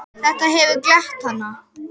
Eins og núna.